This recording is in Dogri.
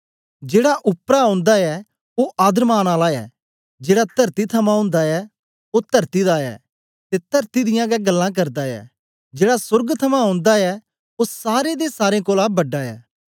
जेड़ा उपरा ओंदा ऐ ओ आदरमान आला ऐ ऐ जेड़ा तरती थमां ओंदा ऐ ओ तरती दा ऐ ते तरती दियां गै गल्लां करदा ऐ जेड़ा सोर्ग थमां ओंदा ऐ ओ सारें दे सारें कोलां बड़ा ऐ